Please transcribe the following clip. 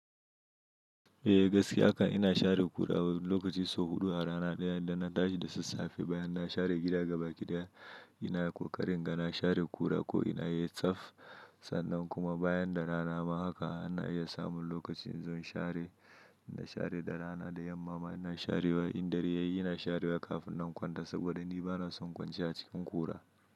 Eh gaskiya haka ina share ƙura wani lokaci sau huɗu a rana ɗaya idan na tashi da sassafe bayan na share gida gaba ɗaya ina ƙoƙarin ga na share ƙura ko ina yi tsaf sannan kuma bayan da rana ma haka ana iya samun lokacin zan share, ina share da rana da yamma ina sharewa in dare yayi ina sharewa kafin zan kwanta saboda ni bana son kwanciya cikin ƙura.